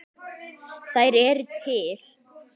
Þær eru til.